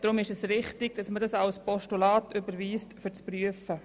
Deshalb ist eine Überweisung als Postulat zwecks einer Prüfung richtig.